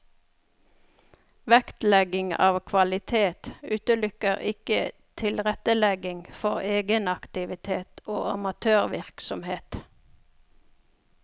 Vektlegging av kvalitet utelukker ikke tilrettelegging for egenaktivitet og amatørvirksomhet.